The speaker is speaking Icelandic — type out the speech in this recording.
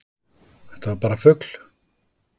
Þetta var bara fugl!